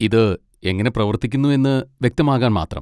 ഇത് എങ്ങനെ പ്രവർത്തിക്കുന്നു എന്ന് വ്യക്തമാകാൻ മാത്രം.